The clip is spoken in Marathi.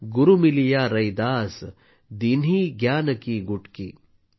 गुरु मिलिया रैदास दीन्ही ज्ञान की गुटकी ।